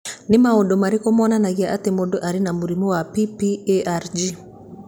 Nĩ maũndũ marĩkũ monanagia atĩ mũndũ arĩ na mũrimũ wa PPARG?